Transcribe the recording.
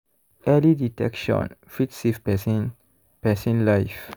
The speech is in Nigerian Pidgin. early detection fit save person person life.